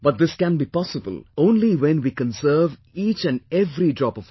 But this can be possible only when we conserve each and every drop of water